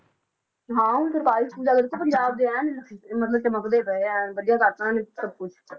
ਹਾਂ ਹੁਣ ਸਰਕਾਰੀ school ਦੇਖੋ ਪੰਜਾਬ ਦੇ ਐਨ ਚ~ ਮਤਲਬ ਚਮਕਦੇ ਪਏ ਆ, ਐਨ ਵਧੀਆ ਕਰ ਦਿੱਤਾ ਉਹਨਾਂ ਨੇ ਸਭ ਕੁਛ